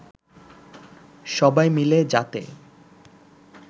সবাই মিলে যাতে